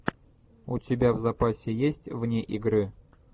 у тебя в запасе есть вне игры